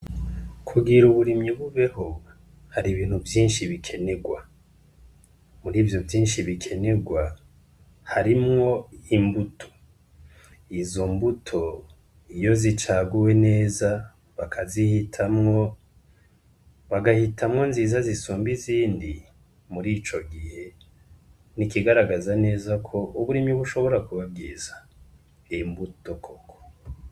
Kugira uburimyi bubeho hari ibintu vyinshi bikenerwa muri vyo vyinshi bikenerwa harimwo imbuto izo mbuto iyo zicaguwe neza bakazihitamwo bagahitamwo nziza zisombe izindi muri o ico gihe ni ikigaragaza neza ko uburimi bushobora kubabwiza imbuto koko.